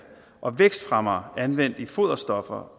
og vækstfremmere anvendt i foderstoffer